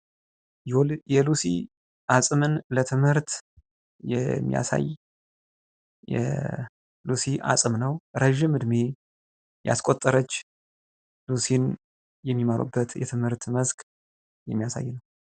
የሉሲ አጽምን ለትምህርት የሚያሳይ የ ሉሲ አጽም ነው። ረዥም እድሜ ያስቆጠረች ሉሲን የሚማሩበት የትምህርት መስክ የሚያሳይ ነው።